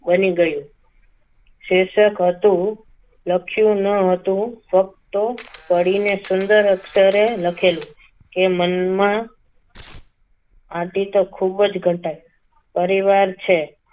બની ગયું શીર્ષક હતું લખ્યું ન હતું ફક્ત વળીને સુંદર અક્ષર લખેલું કે મનમાં આદિ તો ખૂબ જ ઘટાય પરિવાર છે.